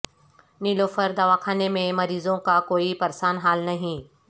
نیلوفر دواخانے میں مریضوں کا کوئی پرسان حال نہیں